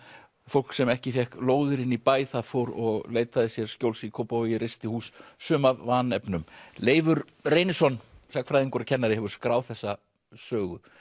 fólk sem ekki fékk lóðir inni í bæ það fór og leitaði sér skjóls í Kópavogi reisti hús sum af vanefnum Leifur Reynisson sagnfræðingur og kennari hefur skráð þessa sögu